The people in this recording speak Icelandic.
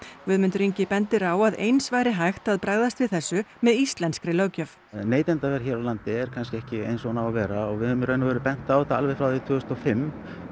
Guðmundur Ingi bendir á að eins væri hægt að bregðast við þessu með íslenskri löggjöf neytendavernd hér á landi er kannski ekki eins og hún á að vera og við höfum í raun og veru bent á þetta alveg frá tvö þúsund og fimm